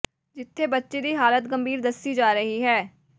ਜਿੱਥੇ ਬੱਚੀ ਦੀ ਹਾਲਤ ਗੰਭੀਰ ਦੱਸੀ ਜਾ ਰਹੀ ਹੈ